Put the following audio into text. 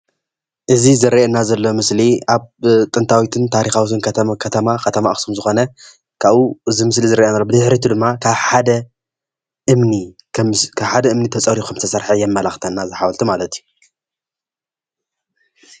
እዚ ዝርአየና ዘሎ ሞስሊ ኣብ ጥንታዊትን ታሪኻዊትን ከተማ ከተማ ኣኽሱም ዝኾነ ካብኡ እዙ ምስሊ ዝርአየና ሎ ብድሕሪኡ ድማ ካብ ሓደ እምኒ ተፀሪቡ ኸም ዝተሰርሐ የመላኽተና እዚ ሓወልቲ ማለት እዩ።